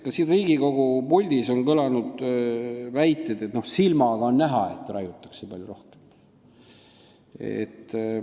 Ka siin Riigikogu puldis on kõlanud väiteid, et no silmaga on näha, et raiutakse palju rohkem.